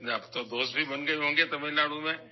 تو اب تمل ناڈو میں بھی آپ کے دوست بن گئے ہوں گے؟